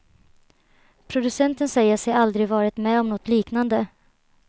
Producenten säger sig aldrig varit med om något liknade.